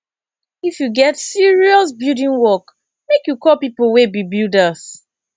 if you get serious building work make you call pipo wey be builders